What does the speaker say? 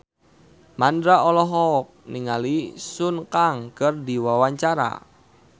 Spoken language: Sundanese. Mandra olohok ningali Sun Kang keur diwawancara